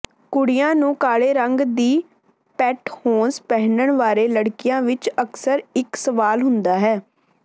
ਕੁੜੀਆਂ ਨੂੰ ਕਾਲੇ ਰੰਗ ਦੀ ਪੈਂਟਹੌਸ ਪਹਿਨਣ ਬਾਰੇ ਲੜਕੀਆਂ ਵਿੱਚ ਅਕਸਰ ਇੱਕ ਸਵਾਲ ਹੁੰਦਾ ਹੈ